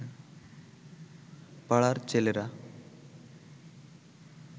পাড়ার ছেলেরা